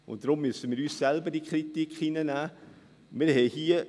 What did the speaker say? Deshalb müssen wir uns selbst der Kritik unterziehen.